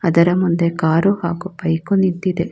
ಇದರ ಮುಂದೆ ಕಾರು ಹಾಗು ಬೈಕು ನಿಂತಿದೆ.